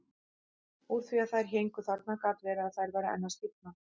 Úr því að þær héngu þarna gat verið að þær væru enn að stífna.